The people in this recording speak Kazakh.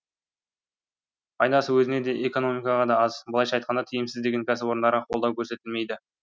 пайдасы өзіне де экономикаға да аз былайша айтқанда тиімсіз деген кәсіпорындарға қолдау көрсетілмейді